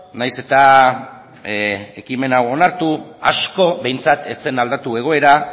nahiz eta ekimen hau onartu asko behintzat ez zen aldatu egoera